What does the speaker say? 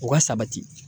O ka sabati